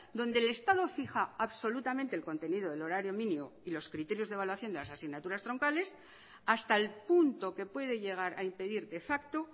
donde el estado fija absolutamente el contenido del horario mínimo y los criterios de evaluación de las asignaturas troncales hasta el punto que puede llegar a impedir de facto